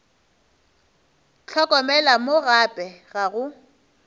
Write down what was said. hlokomela mo gape ga go